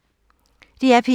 DR P1